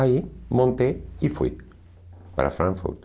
Aí montei e fui para Frankfurt.